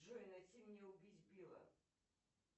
джой найти мне убить билла